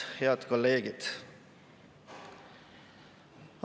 Head kolleegid!